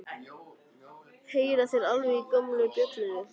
Heyra þeir alveg í gömlu bjöllunni?